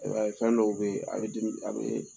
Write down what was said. E b'a ye fɛn dɔw bɛ ye a bɛ a bɛ